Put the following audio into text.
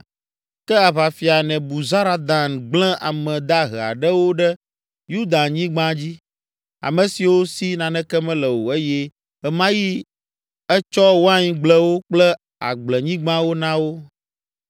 Ke aʋafia Nebuzaradan gblẽ ame dahe aɖewo ɖe Yudanyigba dzi, ame siwo si naneke mele o eye ɣe ma ɣi etsɔ waingblewo kple agblenyigbawo na wo.